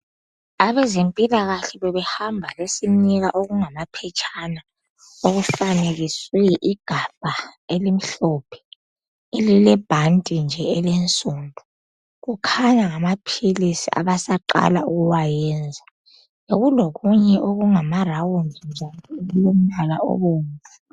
Abezempilakahle bebehamba besinika okungamaphetshana . Okufanekiswe igabha elimhlophe, elilebhanti nje elinsundu..Kukhanya ngamaphilisi, abasaqala ukuwayenza. Bekulokunye okungamarawundi nje okulombala obomvu.